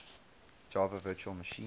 java virtual machine